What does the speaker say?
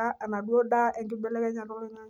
amu inakata eku endaa esidai.